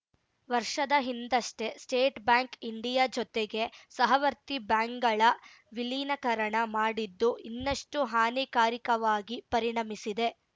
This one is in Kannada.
ವರ್ಷದ ಹಿಂದಷ್ಟೇ ಸ್ಟೇಟ್‌ ಬ್ಯಾಂಕ್‌ ಇಂಡಿಯಾ ಜೊತೆಗೆ ಸಹವರ್ತಿ ಬ್ಯಾಂಕ್‌ಗಳ ವಿಲೀನಕರಣ ಮಾಡಿದ್ದು ಇನ್ನಷ್ಟುಹಾನಿಕಾರಕವಾಗಿ ಪರಿಣಮಿಸಿದೆ